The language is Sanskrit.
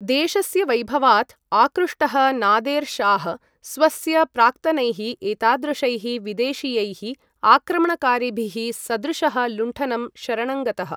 देशस्य वैभवात् आकृष्टः नादेर् शाह् स्वस्य प्राक्तनैः एतादृशैः विदेशीयैः आक्रमणकारिभिः सदृशः लुण्ठनं शरणङ्गतः।